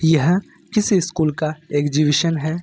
यह किस स्कूल का एग्जीबिशन है।